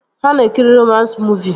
Ha na-ekiri romans muuvi